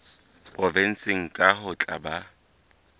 provenseng kang ho tla ba